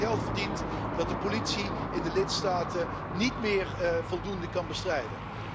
Er wordt zoveel geld verdiend dat de politie in de lidstaten dit fenomeen niet meer voldoende kan bestrijden.